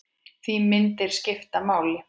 Því myndir skipta máli.